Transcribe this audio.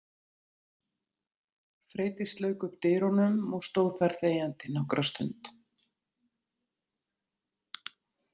Freydís lauk upp dyrunum og stóð þar þegjandi nokkra stund.